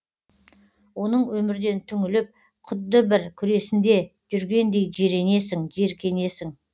оның өмірден түңіліп құдды бір күресінде жүргендей жиренесің жиіркенесің